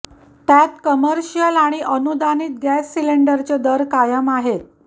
त्यात कमर्शियल आणि अनुदानित गॅस सिलिंडरचे दर कायम आहेत